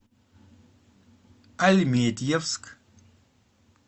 альметьевск